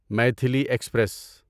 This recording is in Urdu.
میتھیلی ایکسپریس